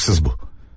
Olanaksız bu.